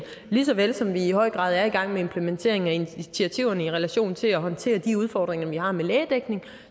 lige så vel som vi i høj grad er i gang med implementeringen af initiativerne i relation til at håndtere de udfordringer vi har med lægedækningen